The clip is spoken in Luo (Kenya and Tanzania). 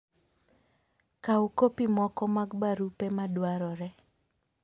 Kaw kopi moko mag barupe madwarore.